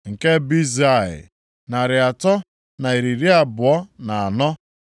nke Bezai, narị atọ na iri abụọ na anọ (324),